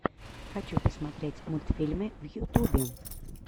хочу посмотреть мультфильмы в ютубе